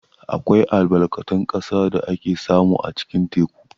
Akwai albarkatun ƙasa da ake samu a cikin teku.